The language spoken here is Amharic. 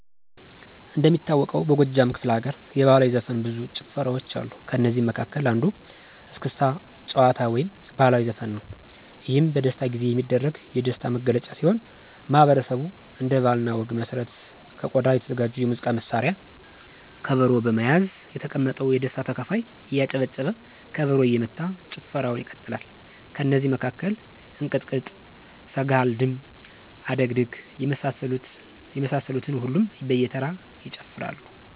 እንደሚታወቀው በጎጃም ክፍለ ለገርየባህላዊ ዘፈን ብዙ ጭፈራዋ ጭፈራዋች ከእነዚህ መለ መሀከል የስክስታጭፈራ አንዱየስክስታ ጭዋታ ወይም ባህልዊ ዘፈንነዉ። የህም የደስታጊዜ የሚደረግ የደሥታ ጊዜየሚደረግ የደሥታ ነግለጫ ሲሆን ማህበረሠቡ እንደ ባህለ እኔ ወግ መሠረት ከቆዳ የተዘጋጀ የሙዚቃ መሳሪያ ከበሮ በመያዝ የተቀመጠው የደስታ ተካፋይ እያጨበጨበ ከበሮ እየመታ ጭፈረዉን ይቀጥላል። ከነዚ መካከል እንቅጥቅጥ፣ ስገሐልድም፣ አደግድግ የመሳሰሉትን ሁሉም በየተራ ይጨፍራሉ።